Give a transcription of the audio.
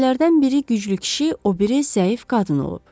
Qatillərdən biri güclü kişi, o biri zəif qadın olub.